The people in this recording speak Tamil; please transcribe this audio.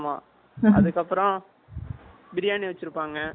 ஆமா அதுக்கு அப்பறம் பிரியாணி வச்சிருப்பாங்க